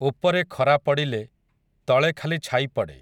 ଉପରେ ଖରା ପଡ଼ିଲେ, ତଳେ ଖାଲି ଛାଇ ପଡ଼େ ।